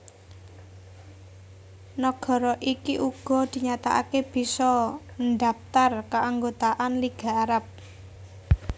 Nagara iki uga dinyatakaké bisa ndhaptar kaanggotaan Liga Arab